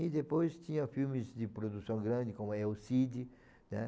E depois tinha filmes de produção grande, como El Cid, né?